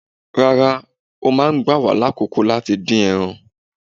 Rárá, ó máa gbà wá lákòókò láti dín ẹran.